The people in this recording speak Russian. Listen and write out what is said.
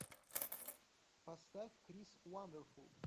поставь крис вандерфул